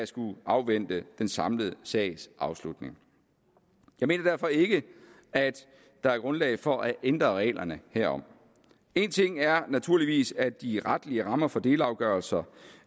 skal afvente den samlede sags afslutning jeg mener derfor ikke at der er grundlag for at ændre reglerne herom en ting er naturligvis at de retlige rammer for delafgørelser